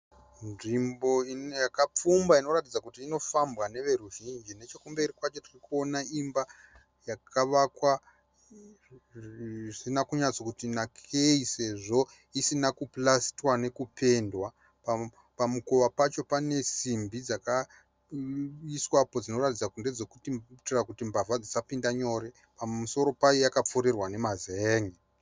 Nzvimbo yakapfumba inoratidza kuti inofambwa neveruzhinji, nechekumberi kwacho tirikuona imba yakavakwa zvisina kunyatsoti nakei sezvo isina kupalistwa nekupendwa, pamukova pacho pane simbidzakaiswa dzinoratidza kuti mbavha dsisapinda nyore. pamusoro payo pakapfurirwa nemazen`e.